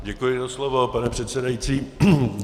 Děkuji za slovo, pane předsedající.